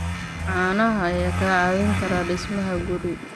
Caanaha ayaa kaa caawin kara dhismaha guri.